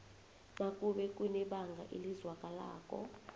nakube kunebanga elizwakalako